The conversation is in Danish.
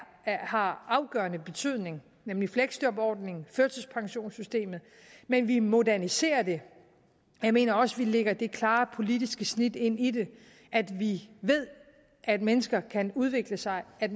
har afgørende betydning nemlig fleksjobordningen og førtidspensionssystemet men vi moderniserer dem jeg mener også vi lægger det klare politiske snit ind i det at vi ved at mennesker kan udvikle sig at